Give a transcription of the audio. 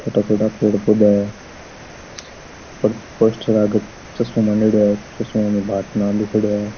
छोटा छोटा पेड़ पौधा है पोस्टर --